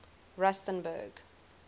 rustenburg